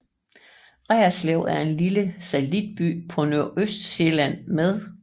Reerslev er en lille satellitby på Nordøstsjælland med